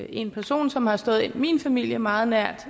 en person som har stået min familie meget nær